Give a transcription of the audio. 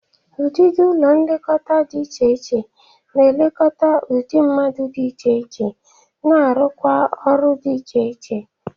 Ụdịdị ụlọ nlekọta dị iche na-ekekọta udị mmadụ dị iche iche na-arụkwa ọrụ dị iche iche